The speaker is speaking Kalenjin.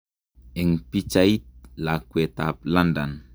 En pichait, lakwet ap London